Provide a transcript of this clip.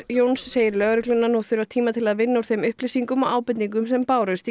Jóns segir lögregluna nú þurfa tíma til að vinna úr þeim upplýsingum og ábendingum sem bárust